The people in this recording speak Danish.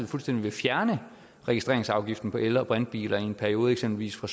fuldstændig vil fjerne registreringsafgiften på el og brintbiler i en periode eksempelvis fra